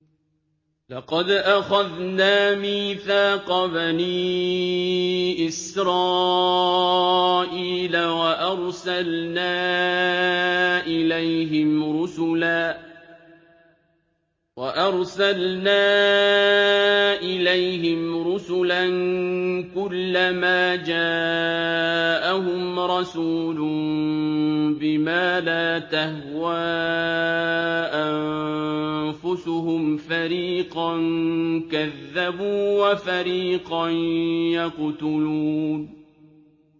لَقَدْ أَخَذْنَا مِيثَاقَ بَنِي إِسْرَائِيلَ وَأَرْسَلْنَا إِلَيْهِمْ رُسُلًا ۖ كُلَّمَا جَاءَهُمْ رَسُولٌ بِمَا لَا تَهْوَىٰ أَنفُسُهُمْ فَرِيقًا كَذَّبُوا وَفَرِيقًا يَقْتُلُونَ